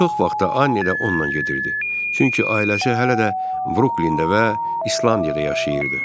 Çox vaxtı Anni də onunla gedirdi, çünki ailəsi hələ də Bruklində və İslandiyada yaşayırdı.